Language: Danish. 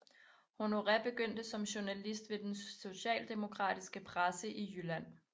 Honoré begyndte som journalist ved den socialdemokratiske presse i Jylland